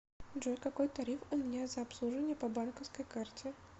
джой какой тариф у меня за обслуживание по банковской карте